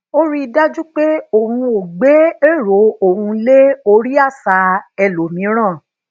ó rí i dájú pé òun ò gbe ero oun le ori àṣà ẹlòmíràn